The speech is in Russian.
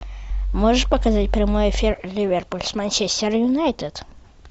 можешь показать прямой эфир ливерпуль с манчестер юнайтед